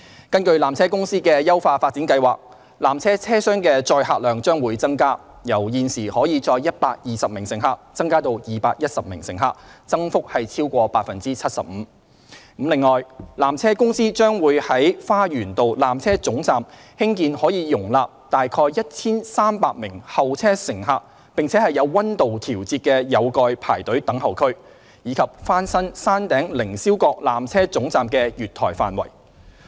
根據纜車公司的優化發展計劃，纜車車廂的載客量將會增加，由現時可載120名乘客增至210名乘客，增幅超過 75%。此外，纜車公司將在花園道纜車總站興建可容納約 1,300 名候車乘客且有溫度調節的有蓋排隊等候區，以及翻新山頂凌霄閣纜車總站的月台範圍。